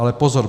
Ale pozor.